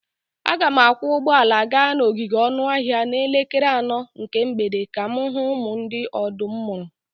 Aga m akwọ ụgbọala gaa n'ogige anụ ọhịa n'elekere anọ nke mgbede ka m hụ ụmụ ndị ọdụm mụrụ.